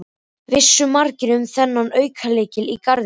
Vissu margir um þennan aukalykil í garðinum?